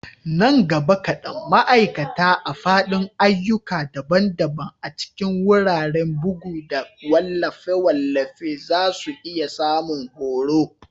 Nan gaba kadan, ma'aikata a fadin ayyuka daban-daban a cikin wuraren bugu da wallafe-wallafe za su iya samun horo.